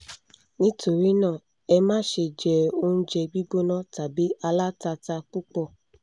nítorí náà: ẹ má ṣe jẹ oúnjẹ gbígbóná tàbí alátatà púpọ̀